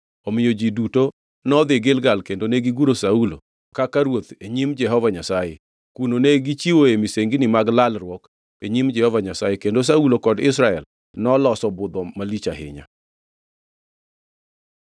Omiyo ji duto nodhi Gilgal kendo negiguro Saulo kaka ruoth e nyim Jehova Nyasaye. Kuno ne gichiwoe misengini mag lalruok e nyim Jehova Nyasaye, kendo Saulo kod Israel noloso budho malich ahinya.